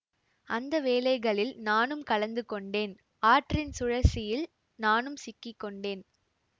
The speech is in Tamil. அந்த வேலைகளில் நானும் கலந்து கொண்டேன் ஆற்றின் சுழற்சியில் நானும் சிக்கி கொண்டேன்